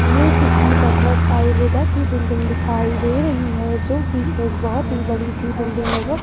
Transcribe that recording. ये किसी भागवत आयुर्वेदा की बिल्डिंग दिखाई दे रही है जो कि एक बहुत ही बड़ी सी बिल्डिंग नजर--